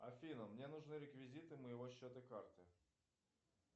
афина мне нужны реквизиты моего счета карты